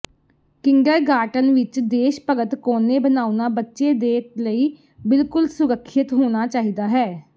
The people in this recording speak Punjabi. ਕਿੰਡਰਗਾਰਟਨ ਵਿੱਚ ਦੇਸ਼ ਭਗਤ ਕੋਨੇ ਬਣਾਉਣਾ ਬੱਚੇ ਦੇ ਲਈ ਬਿਲਕੁਲ ਸੁਰੱਖਿਅਤ ਹੋਣਾ ਚਾਹੀਦਾ ਹੈ